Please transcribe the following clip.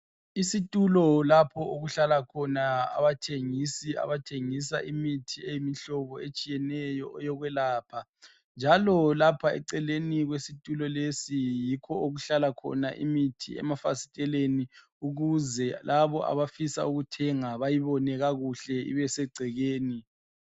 Isitulo lapho okuhlala khona abathengisi. Abathengisa imithi eyimihlobo etshiyeneyo, eyokwelapha, njalo lapha eceleni kwesitulo lesi, yikho okuhlala khona imithi, emafasiteleni. Ukuze labo abafuna ukuthenga, bayibone kuhle. Ibesegcekeni.